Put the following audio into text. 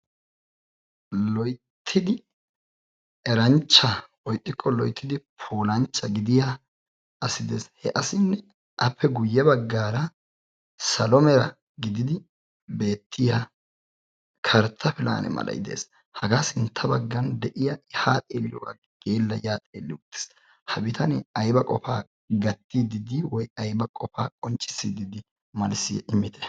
Loyttidi eranchcha woy ixxiko loyttidi puulanchcha gidiya asi de'ees. He asinne appe guye baggaara salo mera gididi beetiyaa kartta pilane malay de'ees. Hagaa sintta baggaan deiya ta a xeeliyobadan ya xeeli uttiwottis. Ha biitaane ayba qofa gattidi dei woykko ayba qonccissidi dei? malssiya immite.